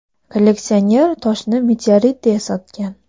Kolleksioner toshni meteorit deya sotgan.